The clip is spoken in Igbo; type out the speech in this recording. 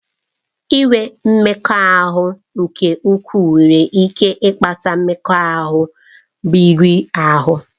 Inwe mmekọahụ nke ukwuu nwere ike ịkpata mmekọahụ riri ahụ.